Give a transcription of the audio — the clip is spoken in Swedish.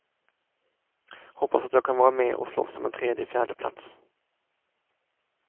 Hoppas att jag kan vara med och slåss om en tredje fjärde plats.